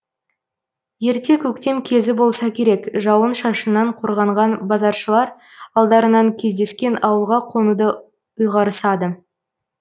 ерте көктем кезі болса керек жауын шашыннан қорғанған базаршылар алдарынан кездескен ауылға қонуды ұйғарысады